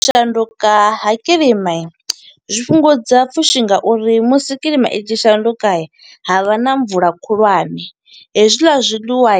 U shanduka ha kiḽima, zwi fhungudza pfushi nga uri musi kiḽima i tshi shanduka, ha vha na mvula khulwane. Hezwiḽa zwiḽiwa